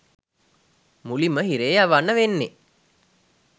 මුලින්ම හිරේ යවන්න වෙන්නෙ